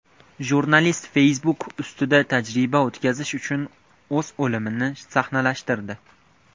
Jurnalist Facebook ustida tajriba o‘tkazish uchun o‘z o‘limini sahnalashtirdi.